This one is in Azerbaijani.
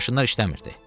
Maşınlar işləmirdi.